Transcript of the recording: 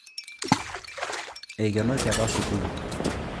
Eikenoki apa sukuul